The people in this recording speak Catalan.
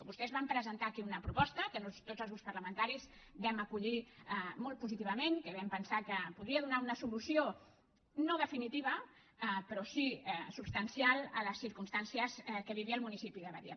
vostès van presentar aquí una proposta que tots els grups parlamentaris vam acollir molt positivament que vam pensar que podia donar una solució no definitiva però sí substancial a les circumstàncies que vivia el municipi de badia